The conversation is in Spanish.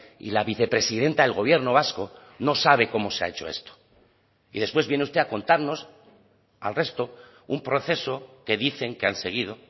y la vicepresidenta del gobierno vasco no sabe cómo se ha hecho esto y después viene usted a contarnos al resto un proceso que dicen que han seguido